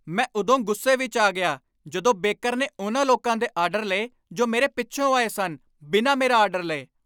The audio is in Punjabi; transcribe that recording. ਮੈਂ ਉਦੋਂ ਗੁੱਸੇ ਵਿੱਚ ਆ ਗਿਆ ਜਦੋਂ ਬੇਕਰ ਨੇ ਉਨ੍ਹਾਂ ਲੋਕਾਂ ਦੇ ਆਡਰ ਲਏ ਜੋ ਮੇਰੇ ਪਿੱਚੋ ਆਏ ਸਨ ਬਿਨਾਂ ਮੇਰਾ ਆਡਰ ਲਏ।